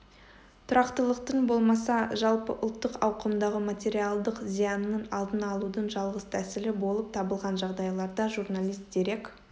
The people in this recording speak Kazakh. тұрақтылықтың болмаса жалпыұлттық ауқымдағы материалдық зиянның алдын алудың жалғыз тәсілі болып табылған жағдайларда журналист дерек